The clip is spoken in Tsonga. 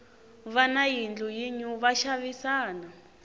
vana va yindlu yinew va xavisana